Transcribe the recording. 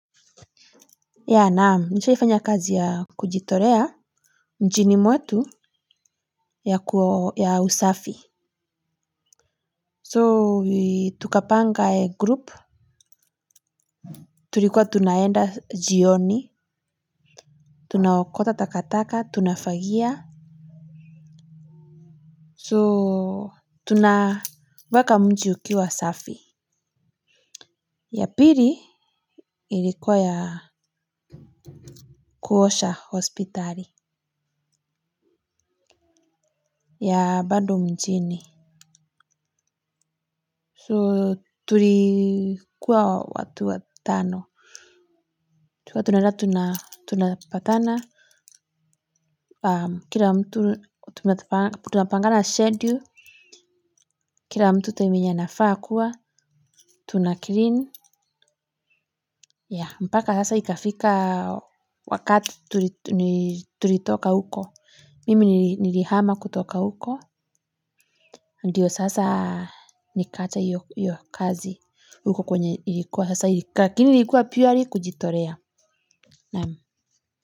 Ya naam nishaifanya kazi ya kujitorea mjini mwetu ya kwa ya usafi So tukapanga e group. Turikuwa tunaenda jioni. Tunaokota takataka tunafagia So tunaweka mji ukiwa usafi. Ya piri ilikuwa ya kuosha hospitali. Ya bando mjini So tulikuwa watu watano. Tulikua tunaenda tunapatana, kila mtu tunapangana schedule, kira mtu time yenye anafaa kuwa, tunakirin, ya mpaka sasa ikafika wakati tulitoka huko. Mimi nirihama kutoka huko, ndiyo sasa nikaacha hio kazi huko kwenye ilikuwa sasa lakini ilikuwa purely kujitorea.